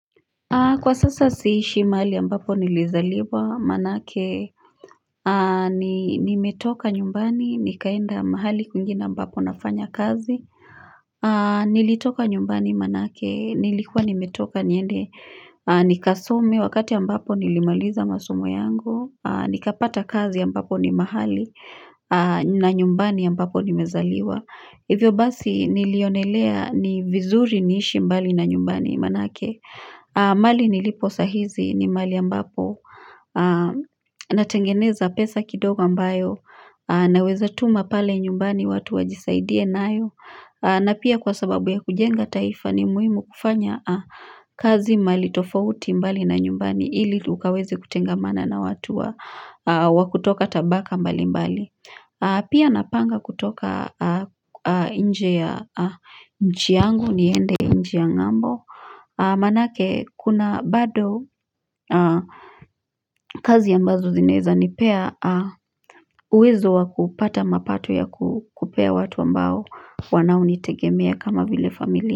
Kwa sasa siishi mahali ambapo nilizaliwa manake nimetoka nyumbani nikaenda mahali kwingine ambapo nafanya kazi Nilitoka nyumbani manake nilikuwa nimetoka niende nikasome wakati ambapo nilimaliza masomo yangu nikapata kazi ambapo ni mahali na nyumbani ambapo nimezaliwa hivyo basi nilionelea ni vizuri niishi mbali na nyumbani manake mahali nilipo saa hizi ni mahali ambapo natengeneza pesa kidogo ambayo Naweza tuma pale nyumbani watu wajisaidie nayo na pia kwa sababu ya kujenga taifa ni muhimu kufanya kazi mahali tofauti mbali na nyumbani Ili ukaweze kutengamana na watu wa kutoka tabaka mbali mbali Pia napanga kutoka nje ya nchi yangu niende nchi ya ng'ambo Manake kuna bado kazi ambazo zinaweza nipea uwezo wa kupata mapato ya kupea watu ambao wanaonitegemea kama vile familia.